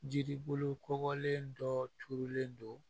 Jiribolo kɔgɔlen dɔ turulen don